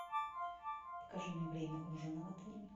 покажи мне время ужина в отеле